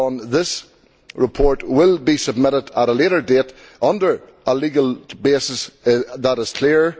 This report will be submitted at a later date under a legal basis that is clear.